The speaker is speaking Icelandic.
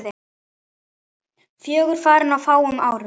Fjögur farin á fáum árum.